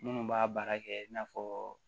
Minnu b'a baara kɛ i n'a fɔ